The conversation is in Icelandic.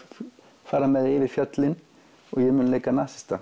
fara með þau yfir fjöllin og ég mun leika nasista